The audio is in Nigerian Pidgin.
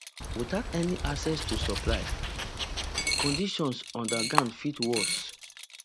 without any access to supplies conditions underground fit worse